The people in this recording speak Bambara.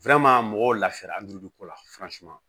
mɔgɔw lafiyara ko la